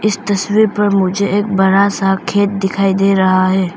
इस तस्वीर पर मुझे एक बड़ा सा खेत दिखाई दे रहा है।